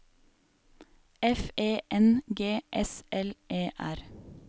F E N G S L E R